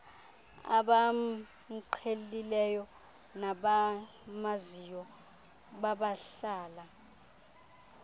abamqhelileyo nabamaziyo nabahlala